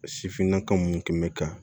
Sifinnaka minnu tun bɛ ka